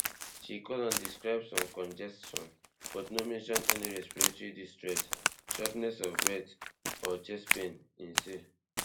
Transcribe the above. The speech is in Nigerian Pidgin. she call and describe some congestion but no mention any respiratory distress shortness of breath or chest pain im say